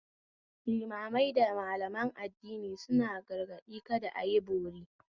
Limamai da Malaman addini suna gargaɗi kada ayi bori